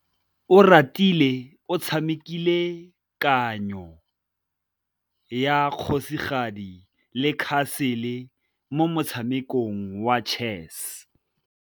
Oratile o tshamekile kananyô ya kgosigadi le khasêlê mo motshamekong wa chess.